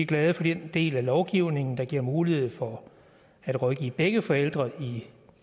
glade for den del af lovgivningen der giver mulighed for at rådgive begge forældre i